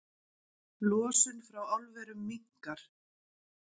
Losun frá álverum minnkar